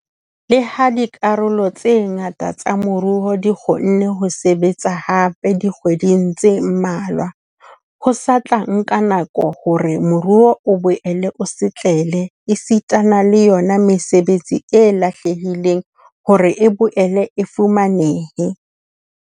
Le ha dikarolo tse ngata tsa moruo di kgonne ho sebetsa hape dikgwedi tse mmalwa, ho sa tla nka nako hore moruo o boele o setlele esitana le yona mesebetsi e lahlehileng hore e boele e fumanehe.